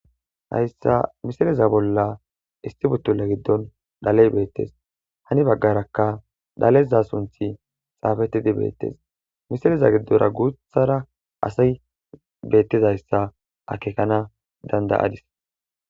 hayssa misileza bolla istibutula giddon dhaley beettes hani baggarakka dhaleza sunthi xaafettidi beettes misileza giddora guuthara asa beettizayssa akekana dandayadis